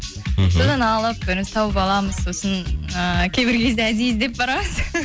мхм содан алып біраз тауып аламыз сосын ііі кейбір кезде әдейі іздеп барамыз